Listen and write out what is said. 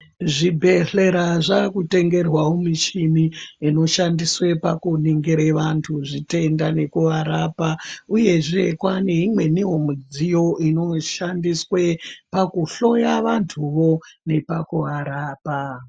Zvibhehlera zvakutengerwawo mishini inoshandiswe pakunongire vantu zvitenda nekuvarapa uyezve kwane imweniwo midziyo inoshandiswe pakuhloya vantuwo nepakuvarapa